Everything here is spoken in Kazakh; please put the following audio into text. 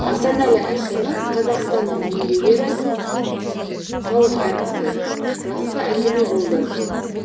асанәлі әшімов қазақстанның еңбек ері халық әртісі жақсы әңгіме болды